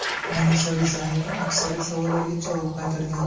Munisa Rizayeva aksariyat savollarga javob qaytargan.